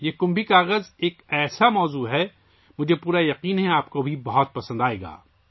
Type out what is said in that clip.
یہ کمبھی کاغذ ایک ایسا ہی موضوع ہے، مجھے یقین ہے کہ آپ کو یہ بہت پسند آئے گا